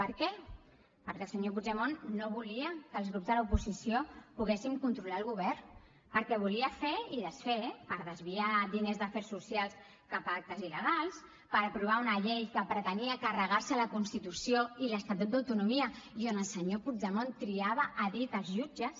per què perquè el senyor puigdemont no volia que els grups de l’oposició poguessin controlar el govern perquè volia fer i desfer per desviar diners d’afers socials cap a actes il·legals per aprovar una llei que pretenia carregar se la constitució i l’estatut d’autonomia i on el senyor puigdemont triava a dit els jutges